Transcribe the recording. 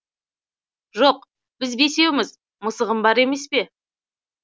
жоқ біз бесеуміз мысығым бар емес пе